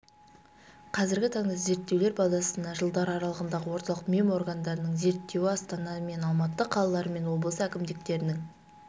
қазіргі таңда зерттеулер базасына жылдар аралығындағы орталық меморгандардың зерттеуі астана мен алматы қалалары мен облыс әкімдіктерінің